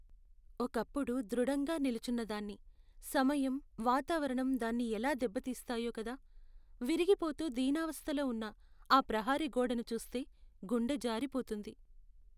ఒకప్పుడు దృఢంగా నిల్చున్నదాన్ని, సమయం, వాతావరణం దాన్ని ఎలా దెబ్బతీస్తాయో కదా! విరిగిపోతూ దీనావస్థలో ఉన్న ఆ ప్రహరీ గోడను చూస్తే గుండె జారిపోతుంది.